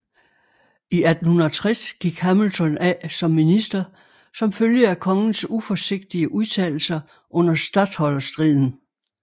I 1860 gik Hamilton af som minister som følge af kongens uforsigtige udtalelser under statholderstriden